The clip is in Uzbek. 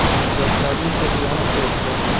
Yoshlarning ko‘zi yonib turibdi.